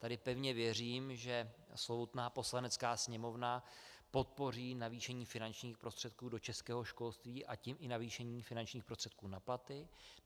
Tady pevně věřím, že slovutná Poslanecká sněmovna podpoří navýšení finančních prostředků do českého školství, a tím i navýšení finančních prostředků na platy.